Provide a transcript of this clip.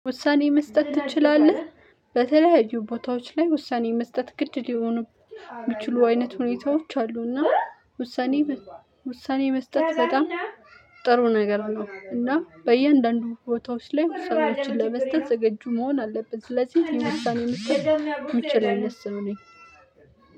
ውሳኔ መስጠት ትችላለህ በተለያዩ ቦታዎች ላይ ውሳኔ መስጠት ግድ ሊሆኑ እሚችሉ አይነት ሁኔታዎች አሉ። እና ውሳኔ ውሳኔ መስጠት በጣም ጥሩ ነገር ነው። እና በእያንዳንዱ ቦታወች ላይ ውሳኔዎችን ለመስጠት ዝግጁ መሆን አለብን። ስለዚህ እኔ ውሳኔ መስጠት እምችል አይነት ነው የሚለው